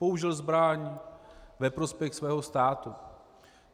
Použil zbraň ve prospěch svého státu.